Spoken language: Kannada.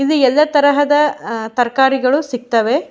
ಇಲ್ಲಿ ಎಲ್ಲ ತಹದ ಅಅ ತರ್ಕರಿಗಳು ಸಿಗ್ತವೆ.